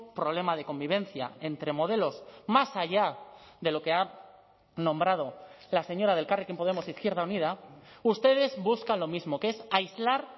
problema de convivencia entre modelos más allá de lo que ha nombrado la señora de elkarrekin podemos izquierda unida ustedes buscan lo mismo que es aislar